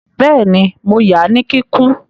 Bẹ́ẹ̀ni, mo ya ní kíkún